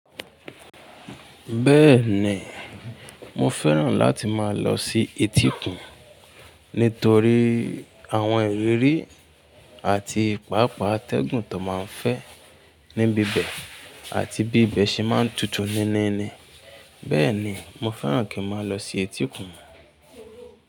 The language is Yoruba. Bẹ́ẹ̀ni, mo fẹ́ràn láti máa lọ sí etíkun nítorí àwọn ìrírí àti ìpápá atẹ́gùn tó máa ń fẹ́ níbi bẹ́ẹ̀ àti bí ibẹ̀ ṣe máa ń tutù níníni. Bẹ́ẹ̀ni, mo fẹ́ràn kí n máa lọ sí etíkun.